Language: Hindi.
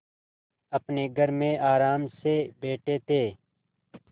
अपने घर में आराम से बैठे थे